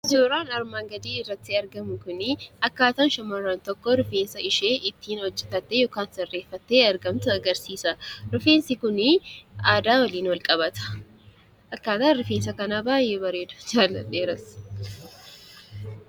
Suuraan armaan gadii irratti argamu kun, akkaataa shamarran tokko rifeensa ishee ittiin hojjatattee yookaan sirreeffattee argamtu agarsiisa. Rifeensi kunii aadaa waliin wal qabata. Akkaataan rifeensa kanaa baayyee bareeda. jaaladheeras.